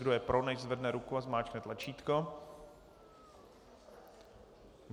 Kdo je pro, nechť zvedne ruku a zmáčkne tlačítko.